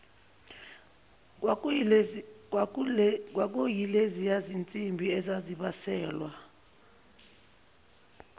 kwakuyileziya zinsimbi ezazibaselwa